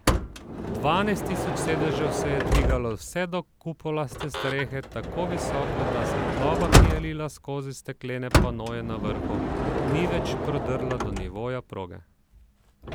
Dvanajst tisoč sedežev se je dvigalo vse do kupolaste strehe, tako visoko, da svetloba, ki je lila skozi steklene panoje na vrhu, ni več prodrla do nivoja proge.